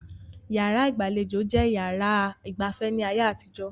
Yàrá ìgbàlejò jẹ́ yàrá ìgba afẹ́ ní ayé àtijó